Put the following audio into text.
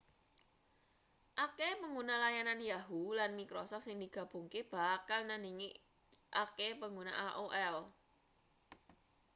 akehe pangguna layanan yahoo lan microsoft sing digabungake bakal nandhingi akehe pangguna aol